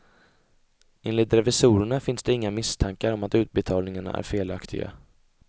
Enligt revisorerna finns det inga misstankar om att utbetalningarna är felaktiga.